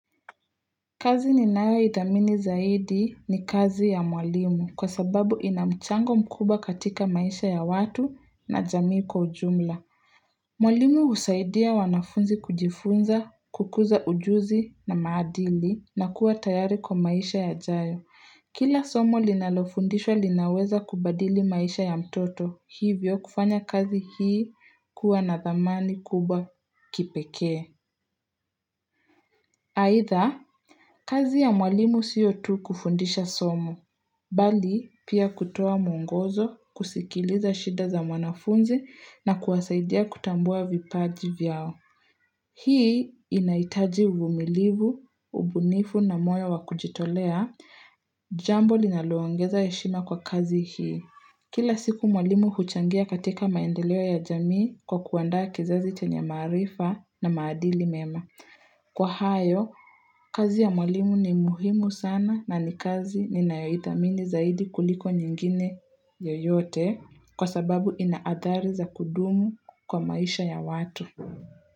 Kazi ninayoithamini zaidi ni kazi ya mwalimu kwa sababu ina mchango mkubwa katika maisha ya watu na jamii kwa ujumla Mwalimu husaidia wanafunzi kujifunza, kukuza ujuzi na maadili na kuwa tayari kwa maisha yajayo Kila somo linalofundishwa linaweza kubadili maisha ya mtoto hivyo kufanya kazi hii kuwa na dhamani kubwa kipekee Aidha kazi ya mwalimu sio tu kufundisha somo, bali pia kutoa mwongozo, kusikiliza shida za mwanafunzi na kuwasaidia kutambua vipaji vyao. Hii inahitaji uvumilivu, ubunifu na moyo wa kujitolea, jambo linaloongeza heshima kwa kazi hii. Kila siku mwalimu huchangia katika maendeleo ya jamii kwa kuandaa kizazi chenye maarifa na maadili mema. Kwa hayo, kazi ya mwalimu ni muhimu sana na ni kazi ninayoithamini zaidi kuliko nyingine yoyote kwa sababu ina athari za kudumu kwa maisha ya watu.